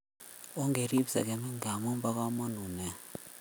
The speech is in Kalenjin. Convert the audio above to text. On kerip sekemik ngamun ba kamanut nea